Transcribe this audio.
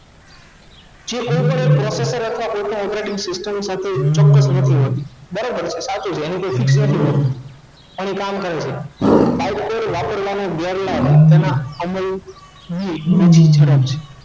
જે ઉપર એક processor કે કોઈ પણ operating system સાથે ચોક્કસ નથી હોતી બરાબર છે સાચું છે કેમકે તેની જગ્યા fix નથી હોતી